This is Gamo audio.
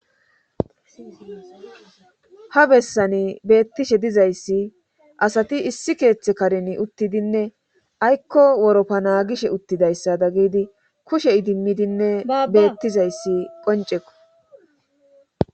ha bessani beettishe dizayssi asati issi keeththe karen uttidinne aykko woroppa naagishe uttidayssa da gidi kushe idimmidinne beettizayssi qoncekko